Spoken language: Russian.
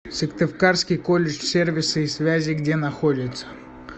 сыктывкарский колледж сервиса и связи где находится